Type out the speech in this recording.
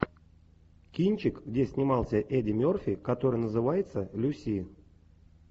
кинчик где снимался эдди мерфи который называется люси